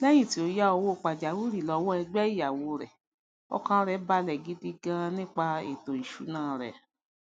léyìn tí ó yá owó pàjáwìrì lówó ẹgbé ìyáwó rè ọkàn rè bàlè gidi gan nípa ètò ìsúná rè